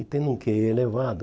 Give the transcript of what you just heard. Ele tem um quê i elevado.